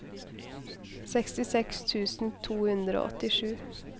sekstiseks tusen to hundre og åttisju